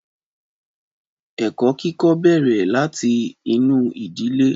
Ẹ̀kọ́ kíkọ́ bẹ́ẹrẹ̀ láti inú ìdílé.